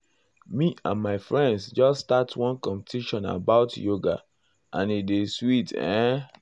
me and my friends just start one competition about yoga and e dey sweet ehn. sweet ehn.